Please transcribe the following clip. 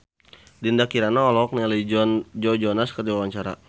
Dinda Kirana olohok ningali Joe Jonas keur diwawancara